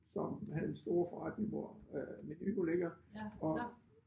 Som havde en stor forretning hvor øh Meny nu ligger og